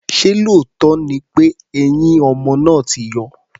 Ṣé lóòótọ́ ni pé eyín ọmọ náà ti yọ?